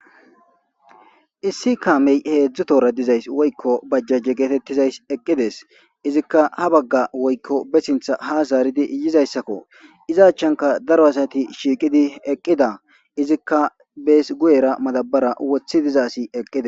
Issi kaamey heedzdzu tora dizays woykko bajjajje geetettizays eqqides izikka ha bagga woykko be sintha ha zaaridi yizayssakko iza achchanka daro asati shiiqidi eqqida izikka bees guyera madabara wothi diza asi eqqida.